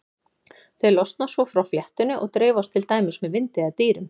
Þau losna svo frá fléttunni og dreifast til dæmis með vindi eða dýrum.